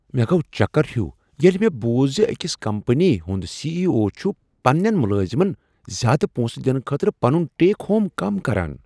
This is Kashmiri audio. مےٚ گوٚو چکر ہیُو ییٚلہ مےٚ بوٗز زِ أکس کمپنی ہنٛد سی ایی او چُھ پنٛنین ملٲزمن زیٛادٕ پونٛسہٕ دنہٕ خٲطرٕ پنن ٹیک ہوم کم کران